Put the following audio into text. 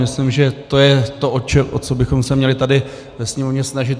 Myslím, že to je to, o co bychom se měli tady ve Sněmovně snažit.